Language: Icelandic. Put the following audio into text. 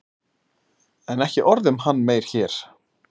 En ekki orð um hann meir hér.